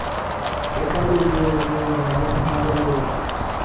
le ka madungwadungwana ho ya